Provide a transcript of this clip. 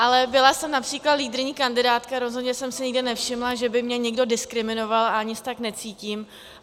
Ale byla jsem například lídryní kandidátky a rozhodně jsem si nikdy nevšimla, že by mě někdo diskriminoval, a ani se tak necítím.